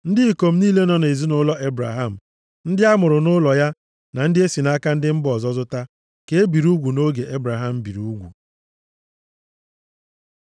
Ndị ikom niile nọ nʼezinaụlọ Ebraham, ndị a mụrụ nʼụlọ ya na ndị e si nʼaka ndị mba ọzọ zụta ka e biri ugwu nʼoge Ebraham biri ugwu.